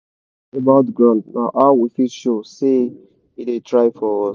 to sing about ground na how we fit show say e da try for us